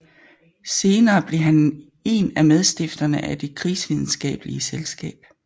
Senere blev han en af medstifterne af Det Krigsvidenskabelige Selskab